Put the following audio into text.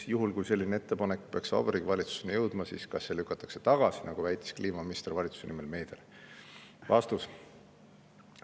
Juhul kui selline ettepanek peaks Vabariigi Valitsuseni jõudma, siis kas see lükatakse tagasi, nagu väitis kliimaminister valitsuse nimel meediale?